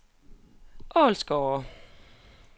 Ålsgårde